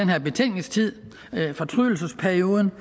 her betænkningstid fortrydelsesperioden